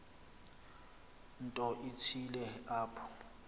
nto ithile apho